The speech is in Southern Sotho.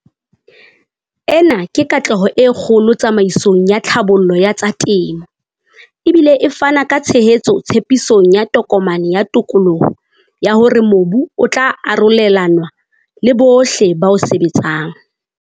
Ena ke katleho e kgolo tsamaisong ya tlhabollo ya tsa temo, e bile e fana ka tshehetso tshepisong ya Tokomane ya Tokoloho ya hore mobu o tla arolelanwa le bohle ba o sebetsang.